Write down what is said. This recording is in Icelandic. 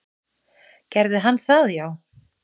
Gerði hann það já?